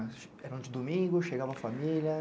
Eram de domingo, chegava a família?